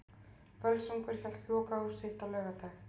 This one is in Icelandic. Völsungur hélt lokahóf sitt á laugardag.